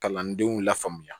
Kalandenw lafaamuya